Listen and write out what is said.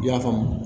I y'a faamu